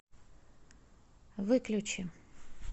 выключи